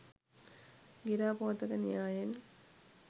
ගිරා පෝතක න්‍යායයෙන්